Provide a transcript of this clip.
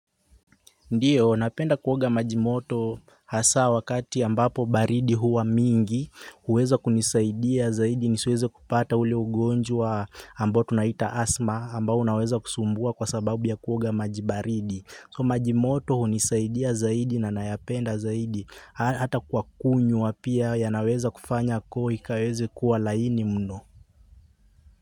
Ndiyo, napenda kuoga maji moto hasa wakati ambapo baridi huwa mingi, huweza kunisaidia zaidi nisiweze kupata ule ugonjwa ambao tunauita 'asthma' ambao unaweza kusumbua kwasababu ya kuoga maji baridi. So majimoto hunisaidia zaidi na nayapenda zaidi hata kwa kunywa pia yanaweza kufanya koo ikaweze kuwa laini mno.